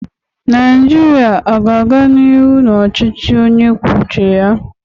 Naijiria a ga-aga n'ihu n'ọchịchị onye kwuo uche ya?